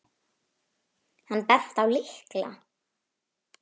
Hann benti á lykla.